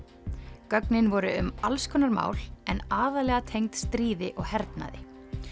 gögnin voru um alls konar mál en aðallega tengd stríði og hernaði